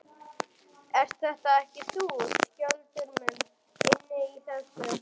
Ert þetta ekki þú, Skjöldur minn, inni í þessu?